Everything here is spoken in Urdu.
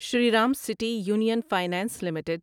Shriram city union finance limited